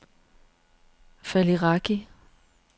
Faliraki